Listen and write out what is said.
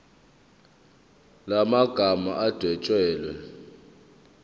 la magama adwetshelwe